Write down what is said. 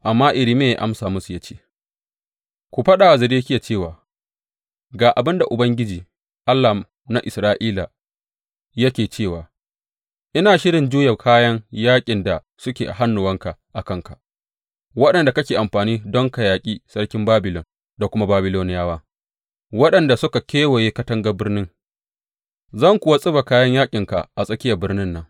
Amma Irmiya ya amsa musu ya ce, Ku faɗa wa Zedekiya cewa, Ga abin da Ubangiji, Allah na Isra’ila, yake cewa ina shirin juya kayan yaƙin da suke a hannuwanka a kanka, waɗanda kake amfani don ka yaƙi sarki Babilon da kuma Babiloniyawa waɗanda suka kewaye katangar birnin, zan kuwa tsiba kayan yaƙinka a tsakiyar birnin nan.